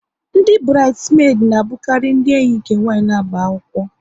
Ndị burides medi na abukari ndị enyi nke nwanyị na-agba akwụkwọ